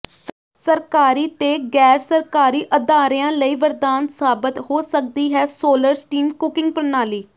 ਸਰਕਾਰੀ ਤੇ ਗ਼ੈਰਸਰਕਾਰੀ ਅਦਾਰਿਆਂ ਲਈ ਵਰਦਾਨ ਸਾਬਤ ਹੋ ਸਕਦੀ ਹੈ ਸੋਲਰ ਸਟੀਮ ਕੁਕਿੰਗ ਪ੍ਰਣਾਲੀ